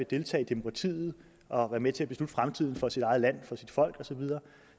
deltage i demokratiet og være med til at beslutte fremtiden for sit eget land for sit folk og så videre